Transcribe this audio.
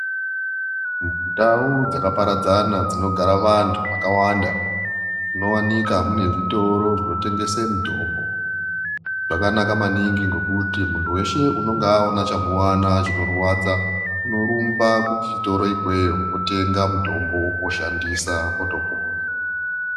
Ndau dzakaparadzana dzinogara vantu vakawanda dzinovanika mune zvitoro zvinotengesa mitombo. Zvakanaka maningi ngekuti muntu veshe unonga aona chamuvana chinorwadza unorumbe kuchitoro ikweyo otenga mutombo oshandisa otopona.